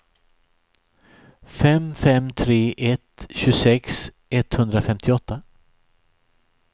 fem fem tre ett tjugosex etthundrafemtioåtta